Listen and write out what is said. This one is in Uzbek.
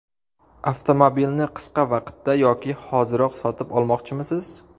Avtomobilni qisqa vaqtda yoki hoziroq sotib olmoqchimisiz?